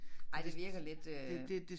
Ej det virker lidt øh